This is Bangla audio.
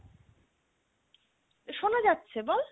শোনাযাচ্ছে বল